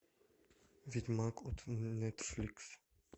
ведьмак от нетфликс